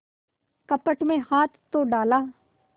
कपट में हाथ तो डाला